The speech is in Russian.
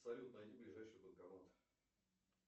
салют найди ближайший банкомат